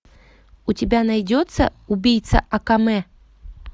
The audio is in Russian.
у тебя найдется убийца акаме